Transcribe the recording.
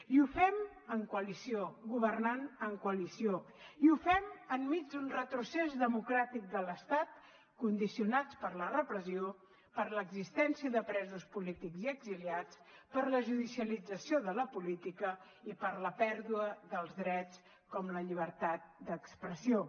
i ho fem en coalició governant en coalició i ho fem enmig d’un retrocés democràtic de l’estat condicionats per la repressió per l’existència de presos polítics i exiliats per la judicialització de la política i per la pèrdua dels drets com la llibertat d’expressió